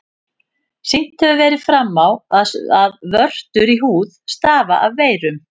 Sýnt hefur verið fram á, að vörtur í húð stafa af veirum.